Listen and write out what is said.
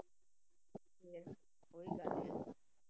ਫਿਰ ਉਹੀ ਗੱਲ ਹੈ ਨਾ।